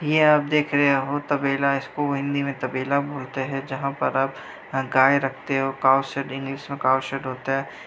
यह आप देख रहे हो तबेला है इसको हिंदी में तबेला बोलते हैं जहाँ पर आप गाय रखते हो काउंसलिंग इस में काऊ सेट होता है।